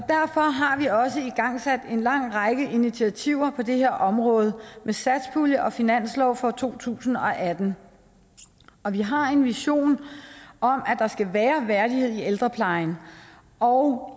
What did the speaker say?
har vi også igangsat en lang række initiativer på det her område med satspuljen og finansloven for to tusind og atten vi har en vision om at der skal være værdighed i ældreplejen og